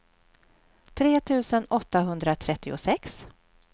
tre tusen åttahundratrettiosex